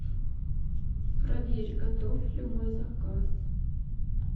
проверь готов ли мой заказ